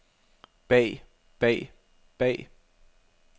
bag bag bag